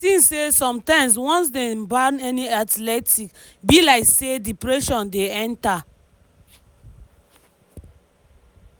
"i tink say sometimes once dem ban any athlete e be like say depression dey enta